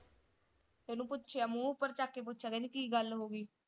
ਓਹਨੂੰ ਪੁੱਛਿਆ ਮੂੰਹ ਉਪਰ ਚੱਕ ਕੇ ਪੁੱਛਿਆ ਕਹਿੰਦੀ ਕੀ ਗੱਲ ਹੋਗੀ?